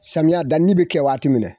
Samiya danni bɛ kɛ waati mina